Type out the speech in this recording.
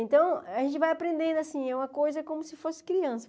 Então, a gente vai aprendendo, assim, é uma coisa como se fosse criança.